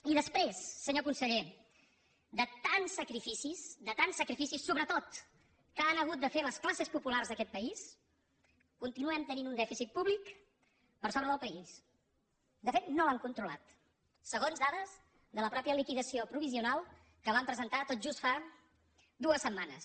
i després senyor conseller de tants sacrificis de tants sacrificis sobretot que han hagut de fer les classes populars d’aquest país continuem tenint un dèficit públic per sobre del país de fet no l’han controlat segons dades de la mateixa liquidació provisional que van presentar tot just fa dues setmanes